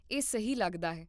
ਇਹ ਸਹੀ ਲੱਗਦਾ ਹੈ